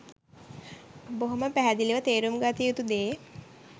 බොහොම පැහැදිලිව තේරුම් ගත යුතු දේ.